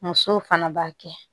Musow fana b'a kɛ